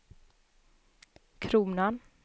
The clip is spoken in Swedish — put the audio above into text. kronan